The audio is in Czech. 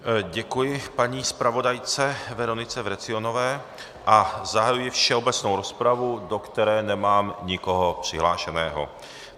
Děkuji paní zpravodajce Veronice Vrecionové a zahajuji všeobecnou rozpravu, do které nemám nikoho přihlášeného.